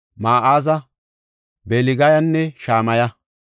Ma7aaza, Belgayanne Shamaya.